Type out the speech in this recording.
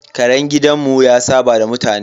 Karen gidanmu ya saɓa da mutane.